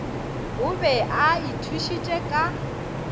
o be a ithušitše ka